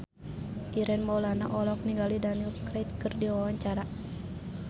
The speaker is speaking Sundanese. Ireng Maulana olohok ningali Daniel Craig keur diwawancara